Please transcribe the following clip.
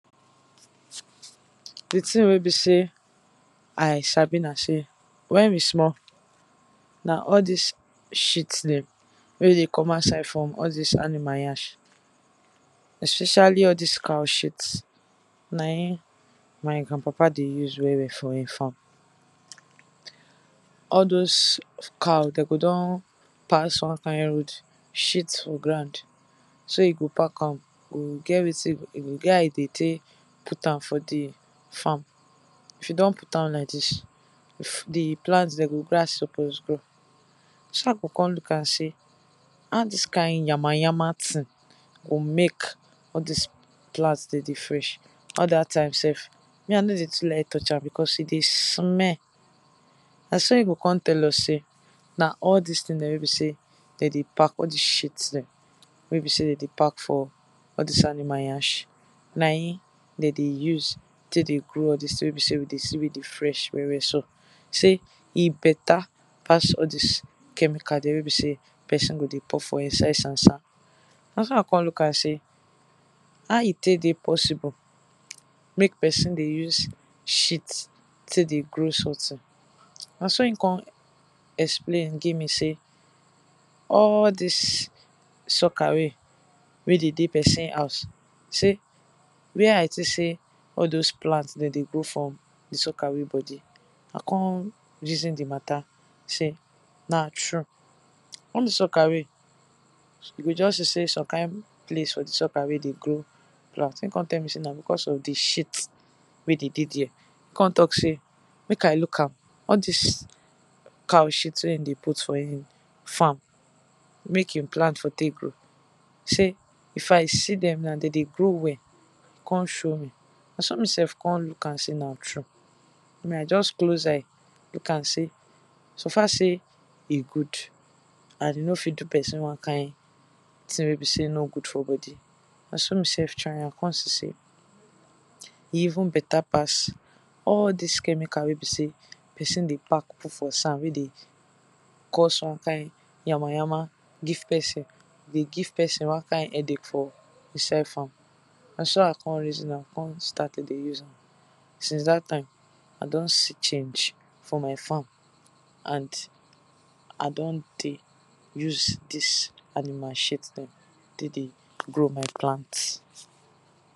Di thing wey be sey I sabi na sey wen we small na all dis shit dem wey dey come out side from animal nyash especially all dis cow shit na im my grand papa dey use well well for in farm. All doz cows dem go don pass one kind road shit for ground, so e go pack, e go get wetin e go take e get how e go take put am for di farm, if e don put am like dis, if di plant dem go grow as e suppose grow. So I go come look am sey how dis kind yama yama thing go make all dis plant dem dey fresh, all dat time sef me I nor dey even like touch am, because e dey smell, na so e go come tell us sey, na all dis thing dem wey be sey dem dey pack, all dis shit dem, wey be sey dem dey pack for all dis animal nyash, na im dem dey use, take dey grow all dis thing wey be sey we dey see wey dey fresh well well so. Sey e better pass all dis chemical wey be sey person go dey pour for inside sand sand. Na so I look am sey how e take dey possible make person dey use shit take dey grow something, na so e come explain give me sey, all dis sock away wey dey for person house sey where I think sey all dis plant dem dey grow for di sock away, I come reason di matter sey na true, all dis sock away you go just see sey, some kind place for di sock away dey grow grass, im come tell me sey na because of di shit wen dey dey there, e come talk sey make I look am sey all dis cow shit wen im dey put for farm, make im plant for take grow, sey if I see dem now dem dey grow well, e come show me na so me sef come look am sey na true, na just close eye look am sey suffer sey e good and e no fit do person one kind thing wey be sey e no good for body, na so me sef try am, come see sey, e even better pass, all dis chemical wey be sey person dey pack put for sand wey dey cause one kind yama yama give person dey give person one kind headache for inside farm, na so I come reason am come start to dey us am since dat time, I don see change for my farm, and I don dey use dis, animal shit dem take dey grow my plant.